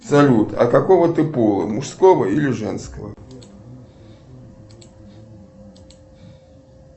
салют а какого ты пола мужского или женского